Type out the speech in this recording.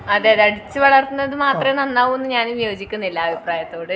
അതെ അതെ അടിച്ച് വളർത്തുന്നത് മാത്രേ നന്നാവൂന്ന് ഞാനും യോജിക്കുന്നില്ല അഭിപ്രായത്തോട്